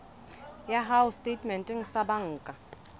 ya hao setatementeng sa banka